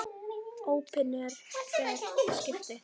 Opinber skipti.